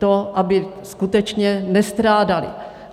To, aby skutečně nestrádaly.